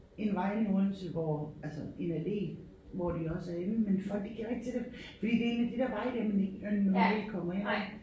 En vej inde i Odense hvor altså en allé hvor de også er inde men folk de kender ikke til det fordi det en af de der veje der man ikke man normalt kommer ind ad